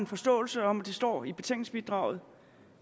forståelse om